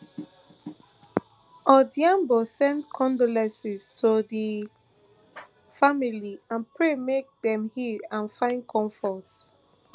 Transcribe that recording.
odhiambo send condolences to di family and pray make dem heal and find comfort